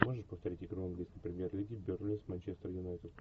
можешь повторить игру английской премьер лиги бернли с манчестер юнайтед